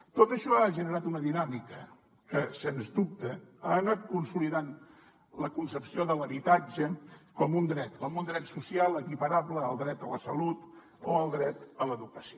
tot això ha generat una dinàmica que sens dubte ha anat consolidant la concepció de l’habitatge com un dret com un dret social equiparable al dret a la salut o al dret a l’educació